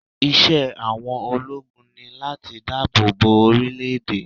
Iṣẹ́ àwọn ológun ni láti dáàbò bo orílẹ̀ èdè.